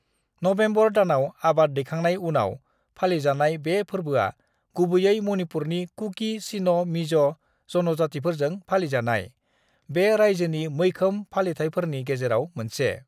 November दानाव आबाद दैखांनाय उनाव फालिजानाय बे फोरबोआ गुबैयै मणिपुरनि कुकी-चिन-मिज' जनजातिफोरजों फालिजानाय बे रायजोनि मैखोम फालिथाइफोरनि गेजेराव मोनसे।